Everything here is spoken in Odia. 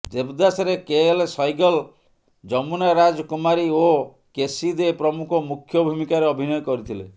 ଦେବଦାସରେ କେଏଲ୍ ସୈଗଲ୍ ଯମୁନା ରାଜ କୁମାରୀ ଓ କେସି ଦେ ପ୍ରମୁଖ ମୁଖ୍ୟ ଭୂମିକାରେ ଅଭିନୟ କରିଥିଲେ